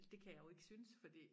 Det kan jeg jo ikke synes fordi